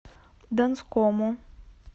донскому